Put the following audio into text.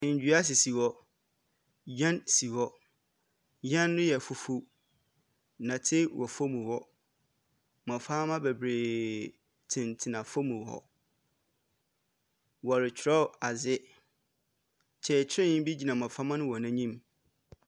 Ndua sisi hɔ, yan si hɔ, yan no yɛ fufu, nnɛte wɔ fɔm hɔ, mmɔframa bebree tentena fɔm hɔ. Wɔretwerɔ adze, kyekyerɛni bi gyina mmɔframa no wɔn anim.